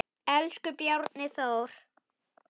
Elsku Bjarni Þór.